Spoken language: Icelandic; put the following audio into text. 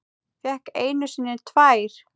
Fékk einu sinni tvær.